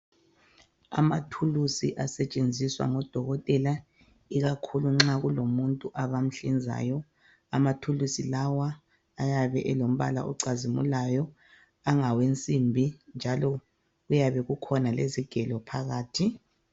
Amathuluzi asetshenziswa ngodokotela ikakhulu nxa kulomuntu abamhlinzayo. Amathuluzi lawa ayabe elombala ocazimulayo angawensimbi njalo kuyabe kukhona lezigelo phakathi.